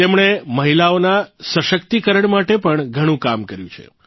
તેમણે મહિલાઓના સશક્તીકરણ માટે પણ ઘણું કામ કર્યું છે